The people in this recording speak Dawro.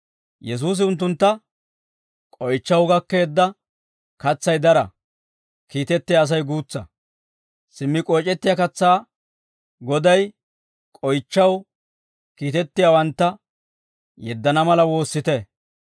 Yesuusi unttuntta, «K'oychchaw gakkeedda katsay dara; kiitettiyaa Asay guutsa. Simmi k'oyc'ettiyaa katsaa Goday, k'oychchaw kiitettiyaawantta yeddana mala woossite.